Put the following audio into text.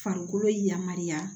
Farikolo yamaruya